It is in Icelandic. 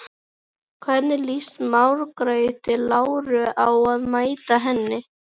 Hvernig líst Margréti Láru á að mæta henni?